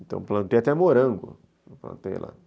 Então plantei até morango, plantei lá.